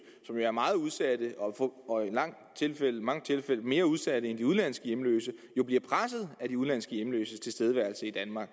som er meget udsatte og i mange tilfælde mere udsatte end de udenlandske hjemløse jo bliver presset af de udenlandske hjemløses tilstedeværelse i danmark